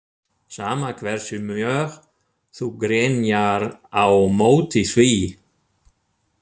Sama hversu mjög þú grenjar á móti því.